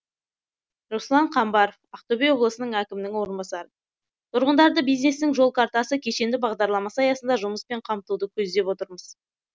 руслан қамбаров ақтөбе облысы әкімінің орынбасары тұрғындарды бизнестің жол картасы кешенді бағдарламасы аясында жұмыспен қамтуды көздеп отырмыз